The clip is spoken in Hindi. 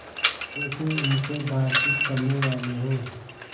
जैसे उनसे बातचीत करनेवाले हों